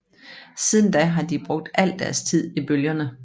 Siden da har de brugt al deres tid i bølgerne